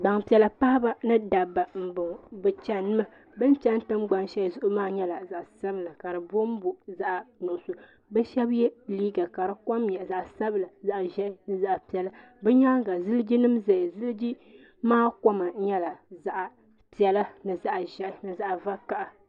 gbanpiɛlla paɣ' ba ni daba n ŋɔ be chin mi ben chini tɛngban shɛli maa nyɛla zaɣ' sabila ka di bonbo zaɣ' nuɣisu shɛb yɛ liga la di kom nyɛ zaɣ' piɛli zaɣ' ʒiɛhi zaɣ' piɛlla be nyɛŋa zilijinim bɛni zilijimaa kom nyɛla zaɣ' piɛlla ni zaɣ' ʒiɛhi zaɣ' vakaya